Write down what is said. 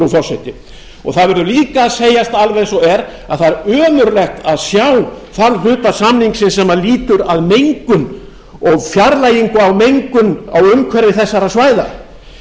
forseti það verður líka að segjast alveg eins og er að það er ömurlegt að sjá þann hluta samningsins sem lýtur að mengun og fjarlægingu á mengun á umhverfi þessara svæða